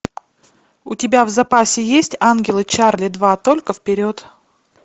у тебя в запасе есть ангелы чарли два только вперед